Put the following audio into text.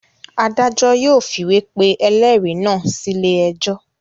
Adájọ́ yóò fìwé pe ẹlẹ́rìí náà sílé ẹjọ́.